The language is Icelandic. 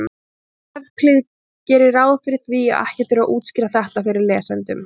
Evklíð gerir ráð fyrir því að ekki þurfi að útskýra þetta fyrir lesendum.